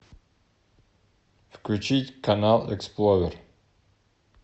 включить канал эксплорер